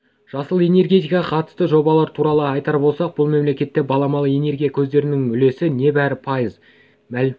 жасыл энергетикаға қатысты жобалары туралы айтар болсақ бұл мемлекетте баламалы энергия көздерінің үлесі небәрі пайыз